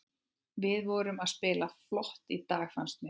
Við vorum að spila flott í dag fannst mér.